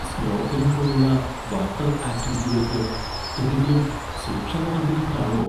Snorkelling പോലുള്ള water ആക്റ്റിവിറ്റികൾക്ക് എന്തെങ്കിലും സുരക്ഷാ നടപടികൾ കാണുമോ?